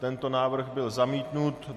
Tento návrh byl zamítnut.